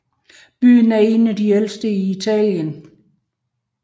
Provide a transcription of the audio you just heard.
Byen er en af de ældste i Italien